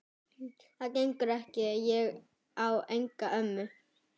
Það gengur ekki, ég á enga ömmu